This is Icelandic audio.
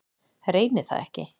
Reyni það ekki.